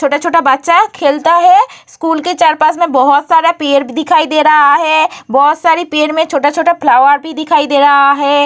छोटा-छोटा बच्चा है खेलता है स्कूल के चार पास में बहुत सारा पेड़ दिखाई दे रहा हैं बहुत सारा पेड़ में छोटा-छोटा फ्लावर भी दिखाई दे रहा है ।